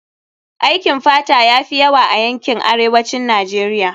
Aikin fata ya fi yawa a yankin arewacin Najeriya